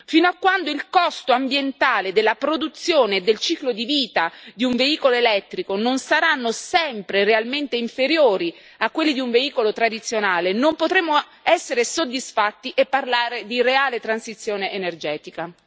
Fino a quando il costo ambientale della produzione del ciclo di vita di un veicolo elettrico non saranno sempre realmente inferiori a quelli di un veicolo tradizionale, non potremo essere soddisfatti e parlare di reale transizione energetica.